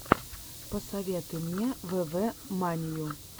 посоветуй мне вве манию